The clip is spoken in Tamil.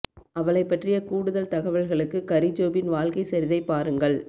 அவளைப் பற்றிய கூடுதல் தகவல்களுக்கு கரி ஜோபின் வாழ்க்கை சரிதை பாருங்கள்